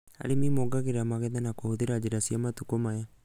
Arĩmi mongagĩrĩra magetha na kũhũthĩra njĩra cia matukũ maya